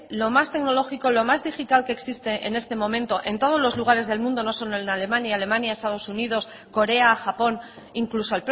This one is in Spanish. lo más tecnológico lo más digital que existe en este momento en todos los lugares del mundo no solo en alemania alemania estados unidos corea japón incluso